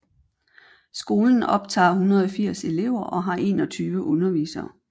Skolen optager 180 elever og har 21 undervisere